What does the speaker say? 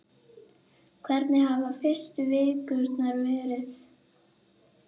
Hvernig hafa fyrstu vikurnar verið?